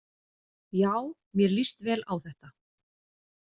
Já mér líst vel á þetta.